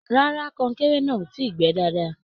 Rárá, kọnkéré náà o tíi gbẹ́ dáadáa.